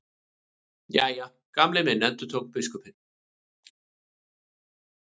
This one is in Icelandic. Jæja, Gamli minn endurtók biskupinn.